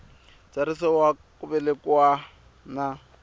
ntsariso wa ku velekiwa na